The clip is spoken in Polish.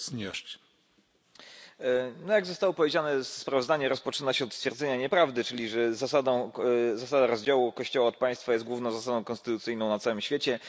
Panie Przewodniczący! Jak zostało powiedziane sprawozdanie rozpoczyna się od stwierdzenia nieprawdy, czyli że zasada rozdziału kościoła od państwa jest główną zasadą konstytucyjną na całym świecie.